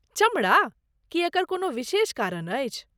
चमड़ा? की एकर कोनो विशेष कारन अछि?